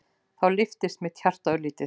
Og þá lyftist mitt hjarta örlítið.